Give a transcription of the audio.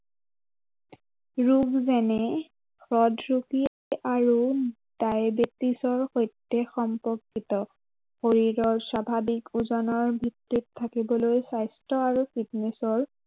লোকজনে হৃদৰোগী আৰু ডায়েবেটিছৰ সৈতে সম্পৰ্কিত। শৰীৰৰ স্বাভাৱিক ওজনৰ ভিতৰত থাকিবলৈ স্বাস্থ্য় আৰু fitness ৰ